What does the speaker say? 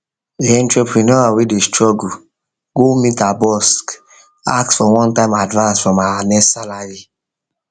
the entrepreneur wey dey struggle go meet her boss ask for onetime advance from her next salary